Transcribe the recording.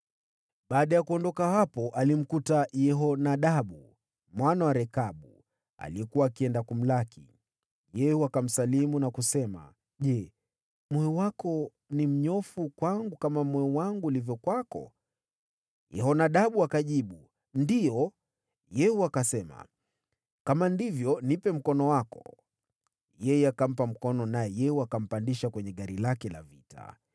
Baada ya kuondoka hapo, alimkuta Yehonadabu mwana wa Rekabu, aliyekuwa akienda kumlaki. Yehu akamsalimu na kusema, “Je, moyo wako ni mnyofu kwangu kama moyo wangu ulivyo kwako?” Yehonadabu akajibu, “Ndiyo.” Yehu akasema, “Kama ndivyo, nipe mkono wako.” Yeye akampa mkono, naye Yehu akampandisha kwenye gari lake la vita.